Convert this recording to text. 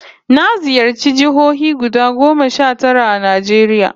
Na ziyarci jihohi guda goma sha tara a Najeriya